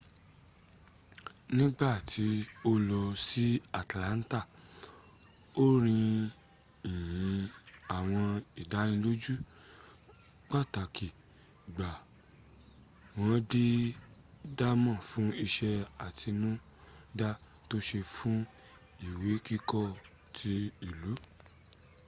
nígbàtí o lò ní atlanta ó rí ìyìn àwọn ìdánilójú pàtàkì gbà wọ́n dẹ̀ daamo fún iṣé àtinúdá to ṣe fún ìwé kíkọ́ ti ìlú